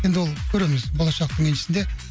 енді ол көреміз болашақтың еншісінде